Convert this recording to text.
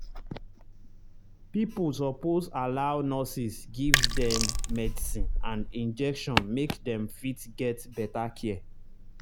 pipo suppose allow nurses give them medicine and injection make them fit get better care